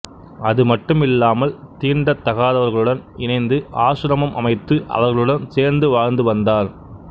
அதுமட்டுமில்லாமல் தீண்டத்தாதவர்களுடன் இணைந்து ஆசிரமம் அமைத்து அவர்களுடன் சேர்ந்து வாழ்ந்து வந்தார்